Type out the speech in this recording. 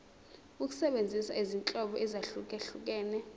ukusebenzisa izinhlobo ezahlukehlukene